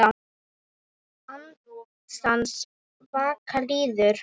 Andans vaka líður.